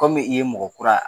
Kɔmi i ye mɔgɔ kura